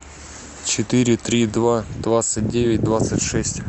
четыре три два двадцать девять двадцать шесть